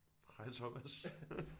Hej Thomas